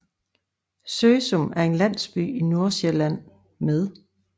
Søsum er en landsby i Nordsjælland med